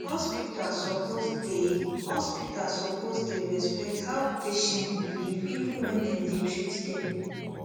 hospital suppose dey hospital suppose dey respect how patient believe even when dem dey treat dem